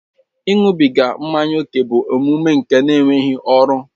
Ịṅụbiga mmanya ókè bụ omume nke enweghị ọrụ